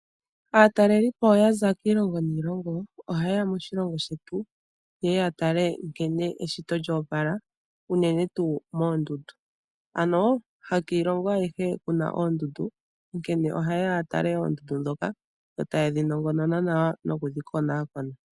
Aatalelipo ya za kiilongo niilongo, ohaye ya moshilongo shetu, ye ye ya tale nkene eshito lya opala, unene tuu moondundu. Ano, hakiilongo ayihe ku na oondundu. Onkene ohaye ya ya tale oondundu ndhoka, yo taye dhi nongonona nawa noku dhi konakona.